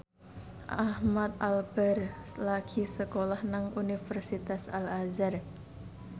Ahmad Albar lagi sekolah nang Universitas Al Azhar